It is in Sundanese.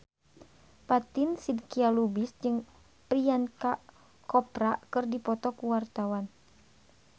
Fatin Shidqia Lubis jeung Priyanka Chopra keur dipoto ku wartawan